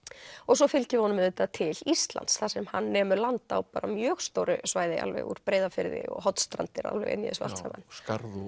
svo fylgjum við honum auðvitað til Íslands þar sem hann nemur land á mjög stóru svæði úr Breiðafirði og Hornstrandir inni í þessu og allt saman skarð